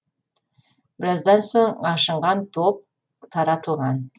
біраздан соң ашынған топ таратылған